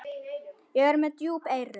Ég er með djúp eyru.